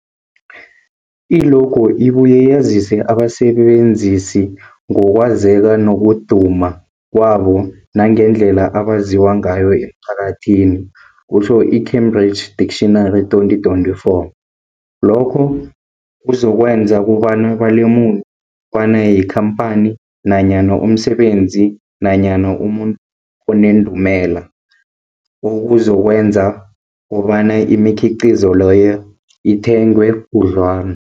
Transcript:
I-logo ibuye yazise abasebenzisi ngokwazeka nokuduma kwabo nangendlela abaziwa ngayo emphakathini, kutjho i-Cambridge Dictionary, 2024. Lokho kuzokwenza kobana balemuke kobana yikhamphani nanyana umsebenzi nanyana umuntu onendumela, okuzokwenza kobana imikhiqhizo leyo ithengwe khudlwana.